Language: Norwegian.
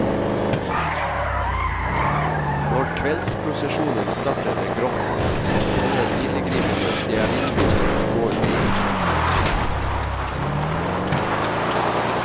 Når kveldsprosesjonen starter ved grotten, tenner pilegrimene stearinlys som de går med i hendene.